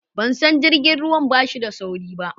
ban san jirgin ruwan bashi da sauri ba